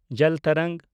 ᱡᱚᱞ ᱛᱚᱨᱚᱝᱜᱽ